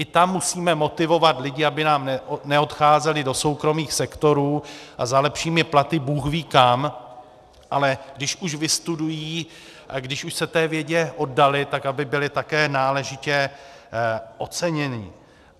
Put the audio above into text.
I tam musíme motivovat lidi, aby nám neodcházeli do soukromých sektorů a za lepšími platy bůhví kam, ale když už vystudují a když už se té vědě oddali, tak aby byli také náležitě oceněni.